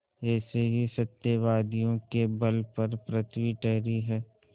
ऐसे ही सत्यवादियों के बल पर पृथ्वी ठहरी है